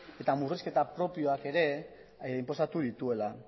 eta murrizketa propioak ere inposatu dituela